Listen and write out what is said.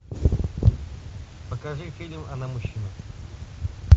покажи фильм она мужчина